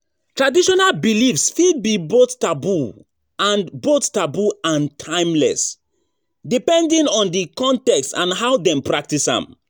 Traditional beliefs fit be both taboo and both taboo and timeless, depending on di context and how dem practice am.